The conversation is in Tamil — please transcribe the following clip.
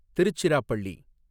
திருச்சிராப்பள்ளி